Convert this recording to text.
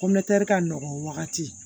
ka nɔgɔn wagati